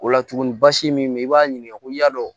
O la tugun basi min bɛ yen i b'a ɲininka ko n y'a dɔn